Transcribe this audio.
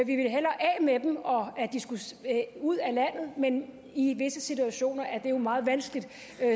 med dem at de skulle ud af landet men i visse situationer er det jo meget vanskeligt